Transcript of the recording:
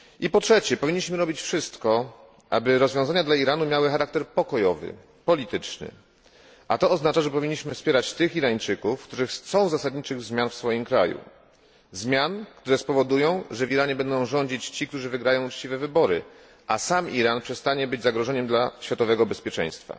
Po trzecie, powinniśmy robić wszystko, aby rozwiązania dla Iranu miały charakter pokojowy, polityczny, a to oznacza, że powinniśmy wspierać tych Irańczyków, którzy chcą zasadniczych zmian w swoim kraju, które spowodują, że w Iranie będą rządzić ci, którzy wygrają uczciwe wybory, a sam Iran przestanie być zagrożeniem dla światowego bezpieczeństwa.